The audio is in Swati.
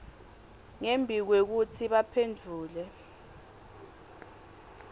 ngembi kwekutsi baphendvule